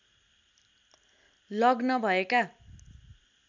लग्न भएका